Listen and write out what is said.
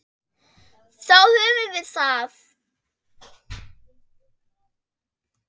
Þá höfum við það.